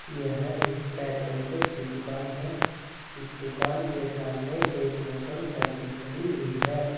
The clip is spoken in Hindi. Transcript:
यह एक टायर पंचर की दुकान है इस दुकान के सामने एक मोटरसाइकिल खड़ी हुई है।